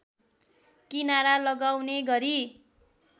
किनारा लगाउने गरी